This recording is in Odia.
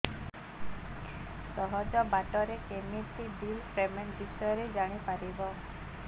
ସହଜ ବାଟ ରେ କେମିତି ବିଲ୍ ପେମେଣ୍ଟ ବିଷୟ ରେ ଜାଣି ପାରିବି